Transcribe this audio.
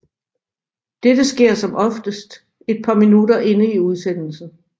Dette sker som oftest et par minutter inde i udsendelsen